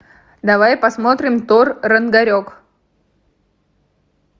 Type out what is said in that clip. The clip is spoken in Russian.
давай посмотрим тор рагнарек